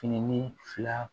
Fini fila